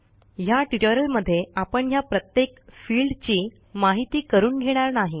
ह्या ट्युटोरियलमध्ये आपण ह्या प्रत्येक फिल्डची माहिती करून घेणार नाही